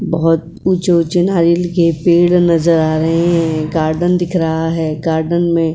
बहुत ऊँचे-ऊँचे नारियल के पेड़ नजर आ रहे हैं। गार्डन दिख रहा है। गार्डन में --